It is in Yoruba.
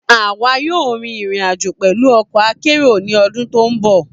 A wa yoo rin irin-ajo pẹlu ọkọ akero ni ọdun to nbọ.